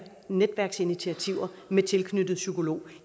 netværksinitiativer med tilknyttede psykolog